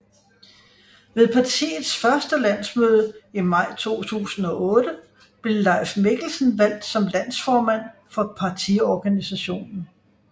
Ved partiets første landsmøde i maj 2008 blev Leif Mikkelsen valgt som landsformand for partiorganisationen